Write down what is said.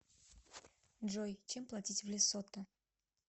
джой чем платить в лесото